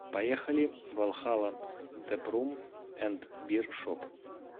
поехали валхалла тэпрум энд бир шоп